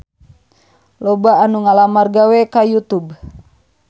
Loba anu ngalamar gawe ka Youtube